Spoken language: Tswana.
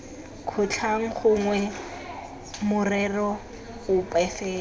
kgotlhang gongwe morero ope fela